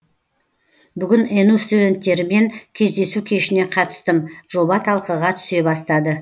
бүгін ену студенттерімен кездесу кешіне қатыстым жоба талқыға түсе бастады